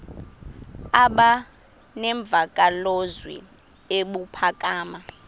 aba nemvakalozwi ebuphakama